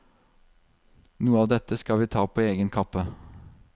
Noe av dette skal vi ta på egen kappe.